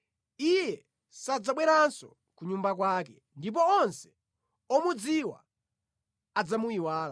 Iye sadzabweranso ku nyumba kwake ndipo onse omudziwa adzamuyiwala.